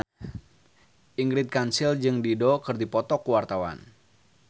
Ingrid Kansil jeung Dido keur dipoto ku wartawan